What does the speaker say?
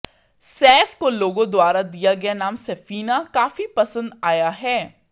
सैफ को लोगों द्वारा दिया गया नाम सैफीना काफी पसंद आया है